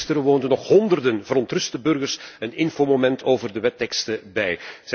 Eergisteren woonden nog honderden verontruste burgers een infomoment over de wetteksten bij.